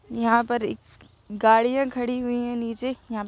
यहाँ पर एक गाड़ियां खड़ी हुई है नीचे यहाँ --